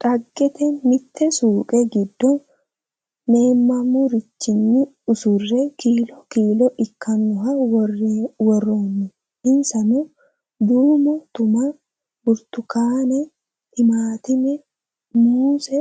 Dhageette! Mitte suuqe giddo meemamurichinni usurre kiillo kiillo ikkanoha woroonni insanno duummo tumma, burittukkaanne, timaattimme, muusse,